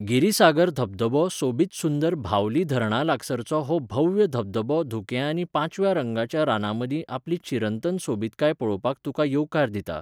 गिरिसागर धबधबो सोबीतसुंदर भावली धरणालागसारचो हो भव्य धबधबो धुकें आनी पांचव्या रंगाच्या रानांमदीं आपली चिरंतन सोबीतकाय पळोवपाक तुका येवकार दिता.